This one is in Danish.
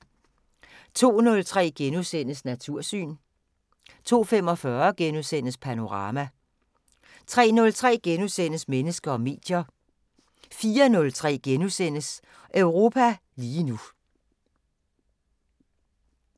02:03: Natursyn * 02:45: Panorama * 03:03: Mennesker og medier * 04:03: Europa lige nu *